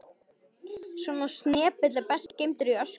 Svona snepill er best geymdur í öskutunnunni.